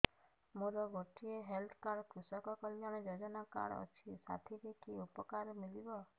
ମୋର ଗୋଟିଏ health card କୃଷକ କଲ୍ୟାଣ ଯୋଜନା କାର୍ଡ ଅଛି ସାଥିରେ କି ଉପକାର ମିଳିବ